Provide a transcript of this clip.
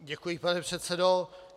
Děkuji, pane předsedo.